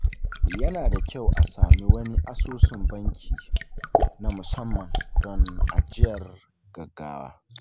Yana da kyau a samu wani asusun banki na musamman don ajiyar gaggawa.